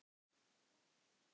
Karen: Hvernig?